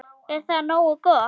Er það nógu gott?